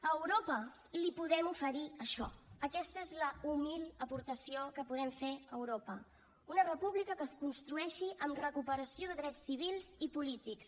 a europa li podem oferir això aquesta és la humil aportació que podem fer a europa una república que es construeixi amb recuperació de drets civils i polítics